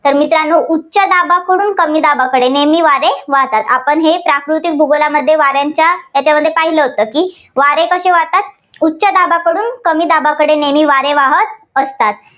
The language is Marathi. तर मित्रांनो उच्च दाबाकडून कमी दाबाकडे नेहमी वारे वाहतात. आपण हे प्राकृतिक भूगोलामध्ये वाऱ्यांच्या यांच्यामध्ये पाहिलं होतं की वारे कसे वाहतात? उच्च दाबाकडून कमी दाबाकडे नेहमी वारे वाहात असतात.